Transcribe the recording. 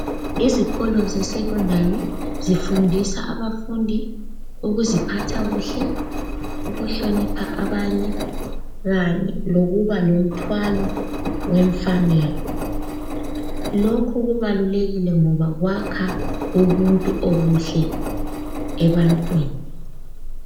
Izikolo zesecondary zifundisa abafundi ukuziphatha kuhle, ukuhlonipha abanye kanye lokuba lothwalo wemfanelo. Lokhu kubalulekile ngoba kwakho ubuntu obuhle ebantwini.